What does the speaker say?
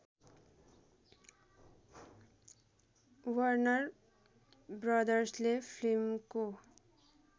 Warner ब्रदर्सले फिल्मको